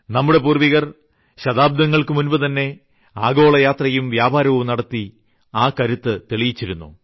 നമ്മുടെ പൂർവ്വികർ ശതാബ്ദങ്ങൾക്കു മുൻപുതന്നെ ആഗോളയാത്രയും വ്യാപാരവും നടത്തി ആ കരുത്ത് തെളിയിച്ചിരുന്നു